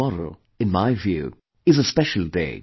tomorrow, in my view, is a special day